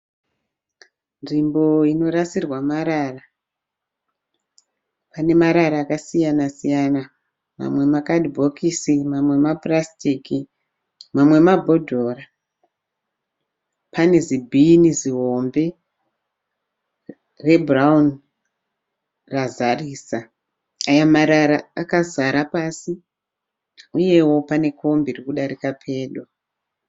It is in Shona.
Nzvimbo inorasirwa marara, pane marara akasiyana siyana mamwe makadhibhokisi, mamwe mapurasitiki mamwe mabhodhoro. Pane zibhini zihombe rebhurauni razarisa. Aya marara akazara pasi, uyewo pane kombi iri kudarika nepedo.